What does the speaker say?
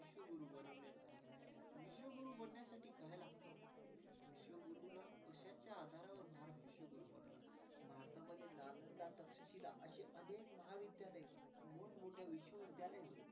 मध्ये नालंदा तक्षशिला अशी महाविद्यालये मोठमोठ्या विश्वविद्यालय.